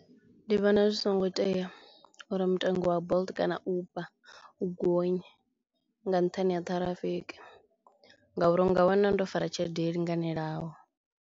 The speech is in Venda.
Ndi vhona zwi songo tea uri mutengo wa Bolt kana Uber u gonye nga nṱhani ha ṱhirafiki ngauri u nga wana ndo fara tshelede yo linganelaho.